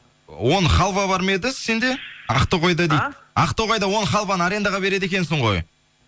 он халва бар ма еді сенде ақтоғайда дейді ақтоғайда он халваны арендаға береді екенсің ғой